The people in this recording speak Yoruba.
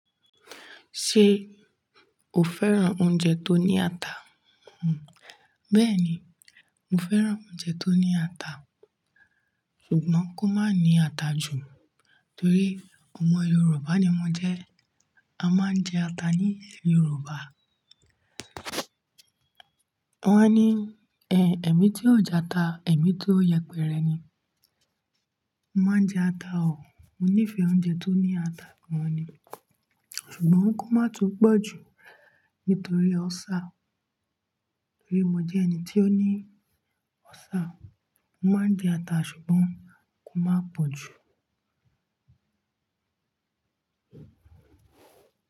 Ṣé o fẹ́ràn oúnjẹ tó ní ata? Hmm. Bẹ́ẹ̀ni, mo fẹ́ràn oúnjẹ tó ní ata, ṣùgbọ́n kó má ní ata jù nítorí ọmọ Yorùbá ni mo jẹ́. A máa ń jẹ ata ní ilẹ̀ Yorùbá. Wọ́n á ní, "Ẹ̀ ẹ̀mí tí ò jẹ ata, ẹ̀mí to yẹpẹrẹ ni." Mo máa ń jẹ ata o, mo nífẹ̀ẹ́ oúnjẹ tó ní ata gan ni, ṣùgbọ́n kó má tún pọ̀jù nítorí ulcer. Nítorí mo jẹ́ ẹni tí ó ní ọ́sà. Mo máa ń jẹ ata ṣùgbọ́n kó má pọ̀jù.